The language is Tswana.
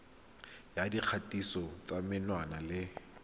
ya dikgatiso tsa menwana le